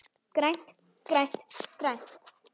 GRÆNT, GRÆNT, GRÆNT.